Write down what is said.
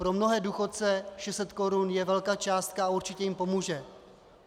Pro mnohé důchodce 600 korun je velká částka a určitě jim pomůže.